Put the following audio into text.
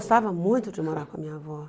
muito de morar com a minha avó.